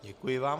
Děkuji vám.